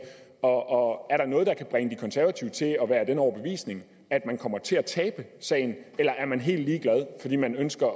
og er der noget der kan bringe de konservative til at være af den overbevisning at man kommer til at tabe sagen eller er man helt ligeglad fordi man ønsker